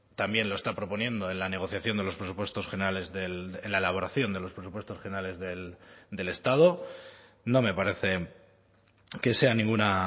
también lo está proponiendo en la negociación de los presupuestos generales en la elaboración de los presupuestos generales del estado no me parece que sea ninguna